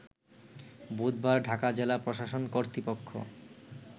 বুধবার ঢাকা জেলা প্রশাসন কর্তৃপক্ষ